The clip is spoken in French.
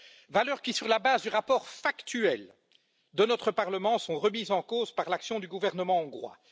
Valeurs qui, sur la base du rapport factuel de notre Parlement, sont remises en cause par l'action du gouvernement hongrois.